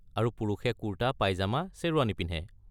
আৰু পুৰুষে কুৰ্টা, পাইজামা, শ্বেৰৱানী পিন্ধে।